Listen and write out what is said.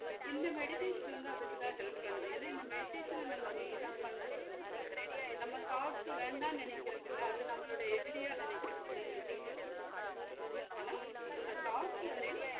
இந்த meditation வந்து அதுக்கு தான் help பண்ணுது ஏன்னா இந்த meditation அ நம்ம main ஆ பண்றது வந்து thoughts வேண்டாம் நெனைக்குறது இல்ல அது நம்மலோடைய எதிரியா நினைக்கிறது இல்ல எதுவுமே பண்றது இல்ல ஆனா அந்த thoughts வந்து